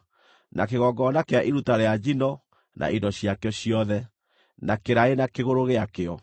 kĩgongona kĩa iruta rĩa njino na indo ciakĩo ciothe, na kĩraĩ na kĩgũrũ gĩakĩo.